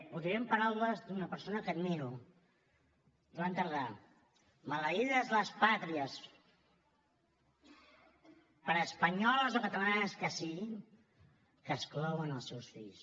ho diré en paraules d’una persona que admiro joan tardà maleïdes les pàtries per espanyoles o catalanes que siguin que exclouen els seus fills